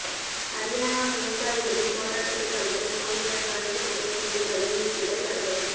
அரியானா விவசாயிகளின் போராட்டத்தைக் கலைக்க போலீசார் கண்ணீர் புகை குண்டுகளை வீசியதால் பரபரப்பு